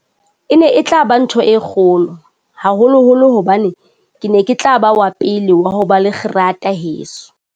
E ne e tla ba ntho e kgolo, haholoholo hobane ke ne ke tla ba wa pele wa ho ba le kgerata heso.